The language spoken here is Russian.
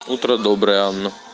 утро доброе анна